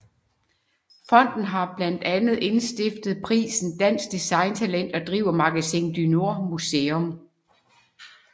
Fonden har blandt andet indstiftet prisen Dansk Design Talent og driver Magasin du Nord Museum